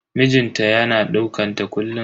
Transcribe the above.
Mijin ta yana dukanta kullun.